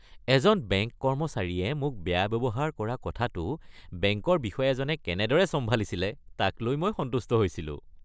এজন বেংক কৰ্মচাৰীয়ে মোক বেয়া ব্যৱহাৰ কৰাৰ কথাটো বেংকৰ বিষয়াজনে কেনেদৰে চম্ভালিছিলে তাক লৈ মই সন্তুষ্ট হৈছিলোঁ।